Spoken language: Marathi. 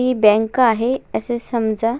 ही बँक आहे असा समजा.